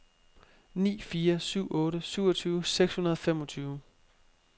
ni fire syv otte syvogtyve seks hundrede og femogtyve